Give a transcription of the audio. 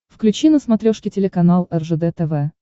включи на смотрешке телеканал ржд тв